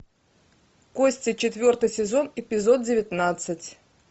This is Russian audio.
кости четвертый сезон эпизод девятнадцать